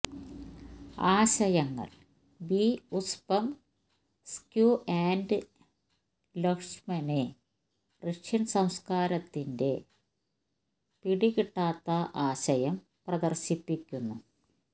ആശയങ്ങൾ B Uspensky and Lotman Russian സംസ്കാരത്തിന്റെ പിടികിട്ടാത്ത ആശയം പ്രദർശിപ്പിക്കുന്നു